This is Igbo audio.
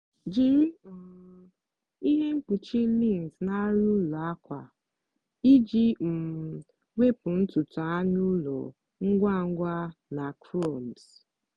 jiri um ihe mkpuchi lint na arịa ụlọ akwa iji um wepụ ntutu anụ ụlọ ngwa ngwa na crumbs.